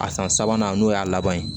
A san sabanan n'o y'a laban ye